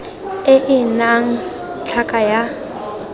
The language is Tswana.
e e nnang tlhaka ya